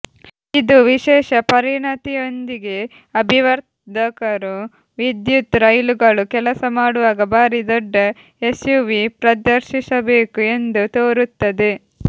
ಇದು ವಿಶೇಷ ಪರಿಣತಿಯೊಂದಿಗೆ ಅಭಿವರ್ಧಕರು ವಿದ್ಯುತ್ ರೈಲುಗಳು ಕೆಲಸಮಾಡುವಾಗ ಭಾರಿ ದೊಡ್ಡ ಎಸ್ಯುವಿ ಪ್ರದರ್ಶಿಸಬೇಕು ಎಂದು ತೋರುತ್ತದೆ